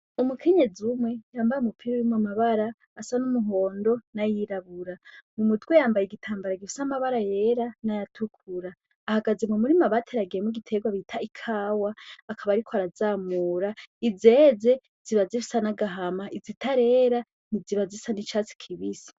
Umukinyezi umwe yambare umupira wimwo amabara asa n'umuhondo n'ayirabura mu mudwe yambaye igitambara gifisa amabara yera n'ayatukura ahagaze mu murimu abateragiye mo giterwa bita ikawa akaba ari ko arazamura izeze ziba zifisa n'agahama izitarera ni ziba zisa n'icatsi kibisi.